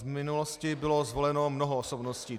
V minulosti bylo zvoleno mnoho osobností.